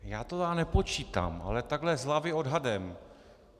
Já to tedy nepočítám, ale takhle z hlavy odhadem.